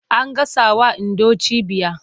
An gasawa Indo cibiya.